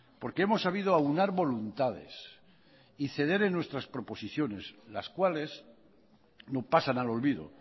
porque hemos sabido aunar voluntades y ceder en nuestras proposiciones las cuales no pasan al olvido